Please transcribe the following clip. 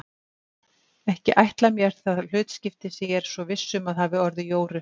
Ekki ætla mér það hlutskipti sem ég er svo viss um að hafi orðið Jóru.